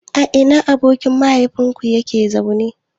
A ina abokin mahaifinka yake zaune?